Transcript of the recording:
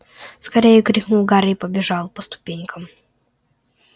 скорее крикнул гарри и побежал по ступенькам